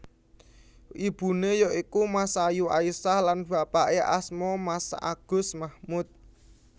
Ibuné ya iku Masayu Aisyah lan bapaké asma Masagus Mahmud